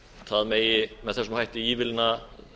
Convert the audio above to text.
það megi með þessum hætti ívilna